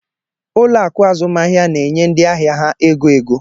Ụlọ akụ azụmahịa na-enye ndị ahịa ha ego ego.